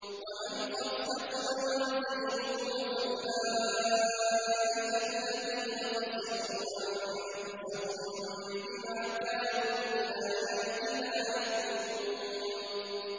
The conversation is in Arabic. وَمَنْ خَفَّتْ مَوَازِينُهُ فَأُولَٰئِكَ الَّذِينَ خَسِرُوا أَنفُسَهُم بِمَا كَانُوا بِآيَاتِنَا يَظْلِمُونَ